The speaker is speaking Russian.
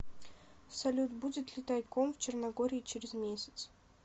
салют будет ли тайком в черногории через месяц